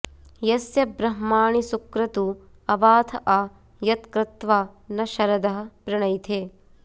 यस्य ब्रह्माणि सुक्रतू अवाथ आ यत्क्रत्वा न शरदः पृणैथे